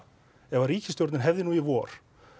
ef ríkisstjórnin hefði í vor